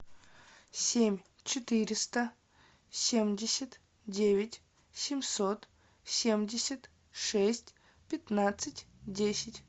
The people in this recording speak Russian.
семь четыреста семьдесят девять семьсот семьдесят шесть пятнадцать десять